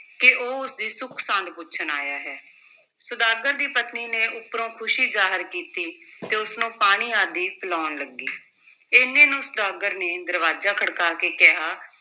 ਕਿ ਉਹ ਉਸ ਦੀ ਸੁੱਖ-ਸਾਂਦ ਪੁੱਛਣ ਆਇਆ ਹੈ, ਸੁਦਾਗਰ ਦੀ ਪਤਨੀ ਨੇ ਉੱਪਰੋਂ ਖੁਸ਼ੀ ਜ਼ਾਹਿਰ ਕੀਤੀ ਤੇ ਉਸ ਨੂੰ ਪਾਣੀ ਆਦਿ ਪਿਲਾਉਣ ਲੱਗੀ, ਇੰਨੇ ਨੂੰ ਸੁਦਾਗਰ ਨੇ ਦਰਵਾਜ਼ਾ ਖੜਕਾ ਕੇ ਕਿਹਾ